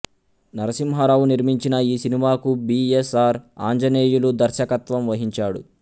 నరసింహారావు నిర్మించిన ఈ సినిమాకు బి ఎస్ ఆర్ ఆంజనేయులు దర్శకత్వం వహించాడు